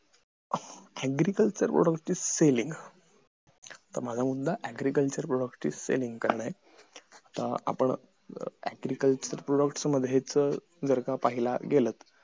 agreeculture product is selling तर माझां मुद्धा agriculture product is selling करणं आहे कारण agriculture product जर का पाहायला गेलं